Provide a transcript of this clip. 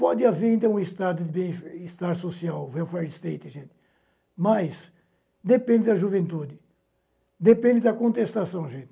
Pode haver, então, um estado de bem-estar social, welfare state, gente, mas depende da juventude, depende da contestação, gente.